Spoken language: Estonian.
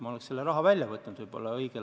Ma võtaks selle õigel ajal välja.